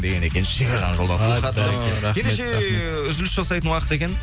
деген екен шекежан жолдаған хатта рахмет рахмет ендеше ііі үзіліс жасайтын уақыт екен